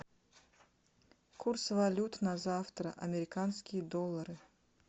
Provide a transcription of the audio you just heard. курс валют на завтра американские доллары